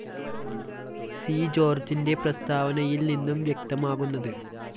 C ജോര്‍ജിന്റെ പ്രസ്താവനയില്‍ നിന്നും വ്യക്തമാകുന്നത്